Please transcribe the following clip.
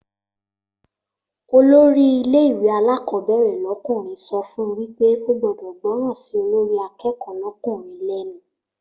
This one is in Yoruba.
Olórí ilé ìwé alákọ̀ọ́bẹ̀rẹ̀ lọ́kùnrin so fún wípé o gbọ́dọ̀ gbọ́ràn sí olórí akẹ́kọ̀ọ́ lọ́kùnrin lẹ́nu